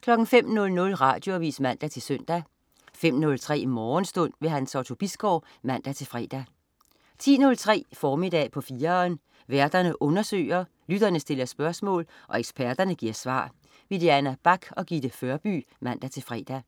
05.00 Radioavis (man-søn) 05.03 Morgenstund. Hans Otto Bisgaard (man-fre) 10.03 Formiddag på 4'eren. Værterne undersøger, lytterne stiller spørgsmål, og eksperterne giver svar. Diana Bach og Gitte Førby (man-fre)